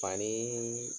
Fani